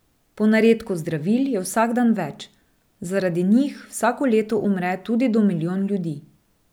Ponaredkov zdravil je vsak dan več, zaradi njih vsako leto umre tudi do milijon ljudi.